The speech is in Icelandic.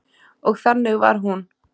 Og þannig var hún.